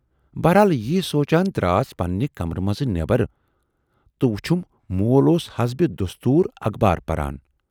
بہرحال یٖی سونچان دراس پَننہِ کَمرٕ مَنز نٮ۪برَ تہٕ وُچھُم مول اوس حسبِ دستوٗر اَخبار پَران۔